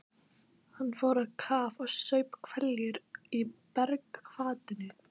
Hann fór á kaf og saup hveljur í bergvatninu.